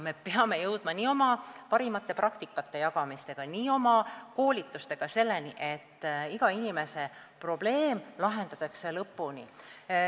Me peame jõudma oma parimate praktikate jagamisega ja koolitustega selleni, et iga inimese probleem lahendatakse lõpuni.